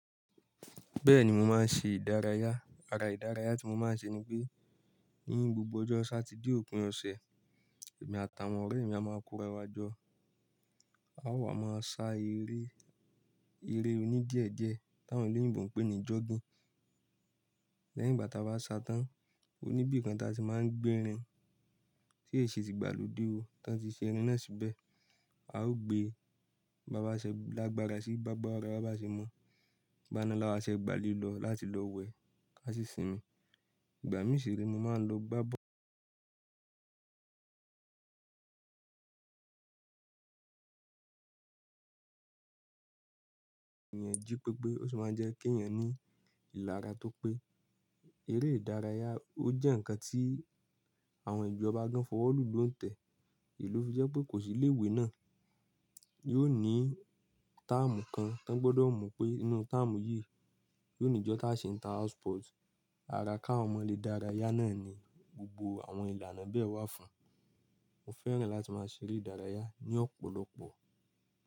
Bẹ́ẹ̀ni mò máa ń ṣe ìdárayá. Ara ìdárayá tí mò máa ń ṣe ni pé ní gbogbo ọjọ́ Satide òpin ọ̀sẹ̀, èmi àtàwọn ọ̀rẹ́ mí a máa kóra wá jọ. A ó wà máa ṣá eré, eré oní díẹ̀ díẹ̀ táwọn èlẹ́yìnbo n pè ní jogging. Lẹ́yìn ìgbà táa bá ṣá tán, oníbi kan tí a ti máa ń gbé rin tí è se ti gbàlódé o, tán tí ṣé irin náà síbẹ̀. A ó gbé bàbáṣẹ lágbarà sí gba gbara bàbáṣẹ mọ. Igbana la wá ṣe gbàlé lọ láti lọ wẹ̀, ká sì sinmi. Igbami sire mo máa n lo gba bọ́ọ̀lù yẹn jí pépé, ó sì máa ń jẹ́ kí èeyàn ní ìlara tó pé. Eré ìdárayá ó jẹ́ ǹkan tí àwọn ìlú ọba gan fọwọ́ lù ló ń tẹ̀. Lofi jepe kosi ile ìwé na yóò ni term kan tán gbọ́dọ̀ mu pe inú term yìí yóò ní ìjọ táa se inter house sport. Ara káwon ọmọ lè dárayá náà ni gbogbo àwọn ìlànà bẹ́ẹ̀ wà fún un. Mo fẹ́ràn láti máa ṣeré ìdárayá ní ọ̀pọ̀lọpọ̀.